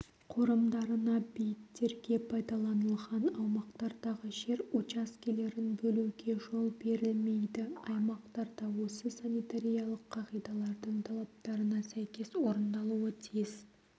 қорымдарына бейіттерге пайдаланылған аумақтардағы жер учаскелерін бөлуге жол берілмейді аймақтарда осы санитариялық қағидалардың талаптарына сәйкес орналасуы тиіс